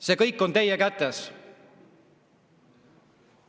See kõik on teie kätes.